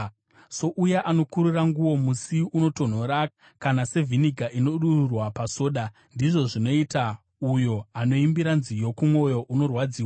Souya anokurura nguo musi unotonhora, kana sevhiniga inodururwa pasoda, ndizvo zvinoita uyo anoimbira nziyo kumwoyo wakaremerwa.